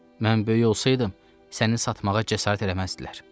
Mən böyük olsaydım, səni satmağa cəsarət eləməzdilər.